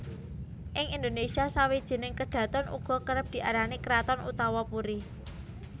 Ing Indonésia sawijining kedhaton uga kerep diarani kraton utawa puri